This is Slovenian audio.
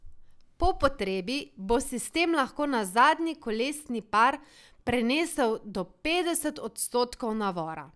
Po potrebi bo sistem lahko na zadnji kolesni par prenesel do petdeset odstotkov navora.